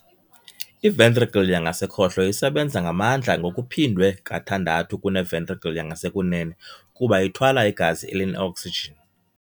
I-ventricle yangasekhohlo isebenza ngamandla ngokuphindwe kathandathu kune-ventricle yangasekunene kuba ithwala igazi eline-oksijini.